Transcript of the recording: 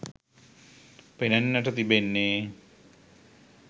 පෙනෙන්නට තිබෙන්නේ.